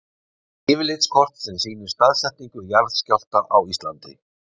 Yfirlitskort sem sýnir staðsetningu jarðskjálfta á Íslandi.